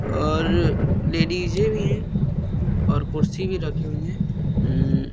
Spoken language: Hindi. लेडीज़े भी हैं और कुर्सी भी रखी हुई है अम्म --